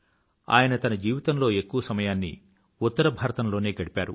ఆయన తన జీవితంలో ఎక్కువ సమయాన్ని ఆయన ఉత్తర భారతంలోనే గడిపారు